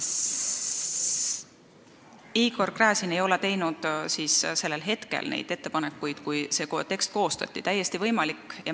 Igor Gräzin ei teinud oma ettepanekuid sellel hetkel, kui see tekst koostati.